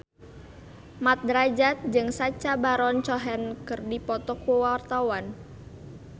Mat Drajat jeung Sacha Baron Cohen keur dipoto ku wartawan